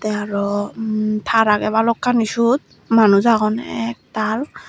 te aro umm tar agey bhalokkani suot manuj agon ek tal.